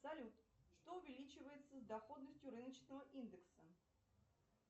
салют что увеличивается с доходностью рыночного индекса